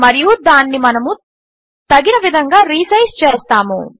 మరియు దానిని మనము తగిన విధంగా రీసైజ్ చేస్తాము